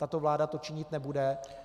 Tato vláda to činit nebude.